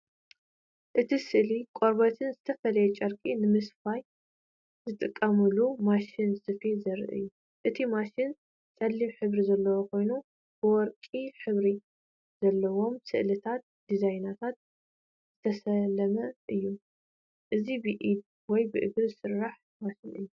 እቲ ስእሊ ቆርበትን ዝተፈላለየ ጨርቅን ንምስፋይ ዝጥቀመሉ ማሽን ስፌት ዘርኢ እዩ። እቲ ማሽን ጸሊም ሕብሪ ዘለዎ ኮይኑ ብወርቂ ሕብሪ ዘለዎም ስእልታትን ዲዛይናትን ዝተሰለመ እዩ። እዚ ብኢድ ወይ ብእግሪ ዝሰርሕ ማሽን እዩ።